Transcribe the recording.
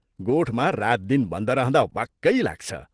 गोठमा रातदिन बन्द रहँदा वाक्कै लाग्छ।